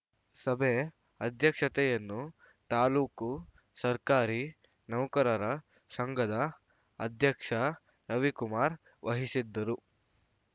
ಸಭೆ ಅಧ್ಯಕ್ಷತೆಯನ್ನು ತಾಲೂಕು ಸರ್ಕಾರಿ ನೌಕರರ ಸಂಘದ ಅಧ್ಯಕ್ಷ ರವಿಕುಮಾರ್‌ ವಹಿಸಿದ್ದರು